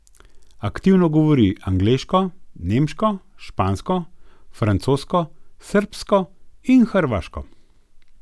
Aktivno govori angleško, nemško, špansko, francosko, srbsko in hrvaško.